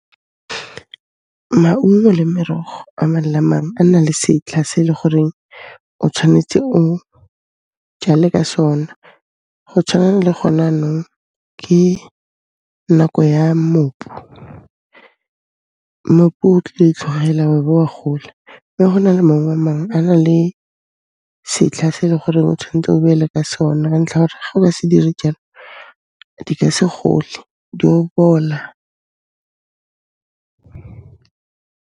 Maungo le merogo a mang le a mang, a na le setlha se e le goreng o tshwanetse o jale ka sona. Go tshwana le gona 'nong, ke nako ya mmopu. Mmopu o tlile o itlhogela, wa be wa gola, mme go na le maungo a mangwe, a na le setlha se eleng gore o tshwantse o beele ka sone ka ntlha ya gore ga o ka se dire jalo, di ka se gole, di'o bola.